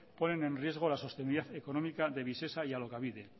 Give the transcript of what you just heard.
ponen en riesgo la sostenibilidad económica de visesa y alokabide